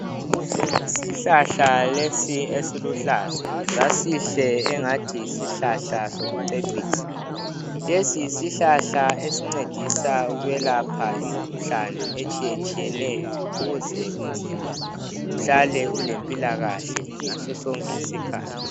Isihlahla lesi esiluhlaza, sasihle engathi yisihlahla sokucecisa. Lesi yisihlahla esincedisa ukwelapha imikhuhlane etshiyetshiyeneyo ukuze umzimba uhlale ulempilakahle ngaso sonke isikhathi.